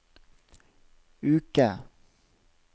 uke